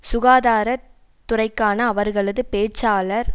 சுகாதார துறைக்கான அவர்களது பேச்சாளர்